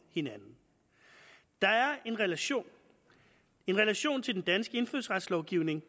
hinanden der er en relation en relation til den danske indfødsretslovgivning